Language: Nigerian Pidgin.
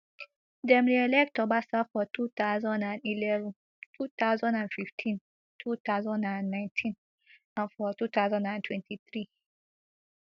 dem reelect obasa for two thousand and eleven two thousand and fifteen two thousand and nineteen and for two thousand and twenty-three